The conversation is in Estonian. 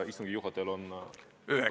Istungi juhatajal on õigus.